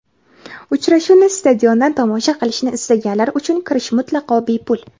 Uchrashuvni stadiondan tomosha qilishni istaganlar uchun kirish mutlaqo bepul.